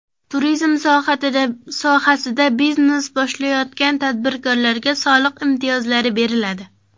Turizm sohasida biznes boshlayotgan tadbirkorlarga soliq imtiyozlari beriladi.